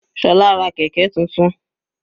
Sola ra kẹ̀kẹ́ tuntun.